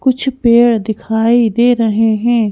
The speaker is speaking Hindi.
कुछ पेड़ दिखाई दे रहे ।